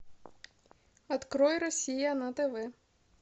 открой россия на тв